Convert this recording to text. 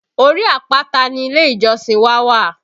Orí àpáta ni ilé ìjọsìn wá wà